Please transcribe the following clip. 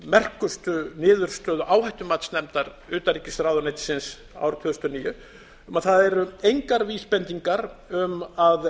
merkustu niðurstöðu áhættumatsnefndar utanríkisráðuneytisins árið tvö þúsund og níu um að það eru engar vísbendingar um að